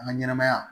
An ka ɲɛnɛmaya